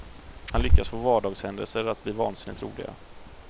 Han lyckas få vardagshändelser att bli vansinnigt roliga.